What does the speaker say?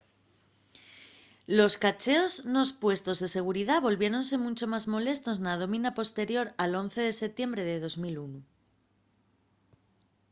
los cacheos nos puestos de seguridá volviéronse muncho más molestos na dómina posterior al 11 de setiembre de 2001